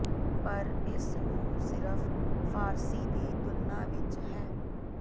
ਪਰ ਇਸ ਨੂੰ ਸਿਰਫ ਫ਼ਾਰਸੀ ਦੀ ਤੁਲਨਾ ਵਿਚ ਹੈ